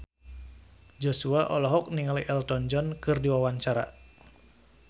Joshua olohok ningali Elton John keur diwawancara